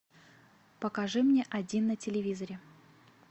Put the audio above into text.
покажи мне один на телевизоре